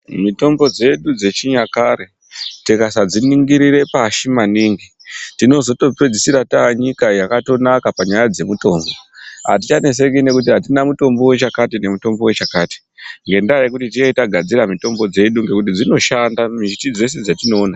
Mitombo dzedu dzechinyakare tikasadziningirire pashi maningi tinozotopedzisira taa nyika yakatonaka panyaya dzemitombo, atichaneseki nekuti atina mutombo wechakati nemutombo wechakati. Ngendaa yekuti tinenge tagadzira mutombo dzedu ngekuti dzinoshanda miti dzeshe dzetinoona.